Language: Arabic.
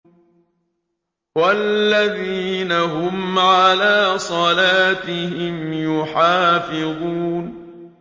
وَالَّذِينَ هُمْ عَلَىٰ صَلَاتِهِمْ يُحَافِظُونَ